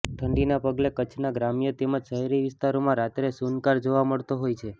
ઠંડીના પગલે કચ્છનાં ગ્રામ્ય તેમજ શહેરી વિસ્તારોમાં રાત્રે સૂનકાર જોવા મળતો હોય છે